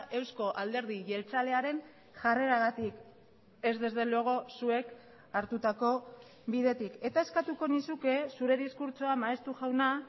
eusko alderdi jeltzalearen jarreragatik ez desde luego zuek hartutako bidetik eta eskatuko nizuke zure diskurtsoa maeztu jauna